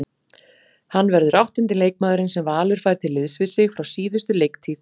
Hann verður áttundi leikmaðurinn sem Valur fær til liðs við sig frá síðustu leiktíð.